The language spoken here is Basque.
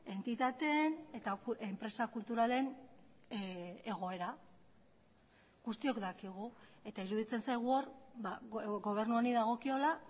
entitateen eta enpresa kulturalen egoera guztiok dakigu eta iruditzen zaigu hor gobernu honi dagokiola